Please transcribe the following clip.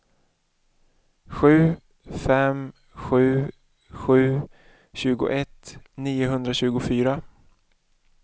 sju fem sju sju tjugoett niohundratjugofyra